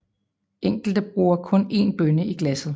Enkelte bruger kun én bønne i glasset